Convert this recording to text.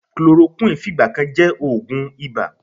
Chloroquine fìgbà kan jẹ́ oògùn ibà.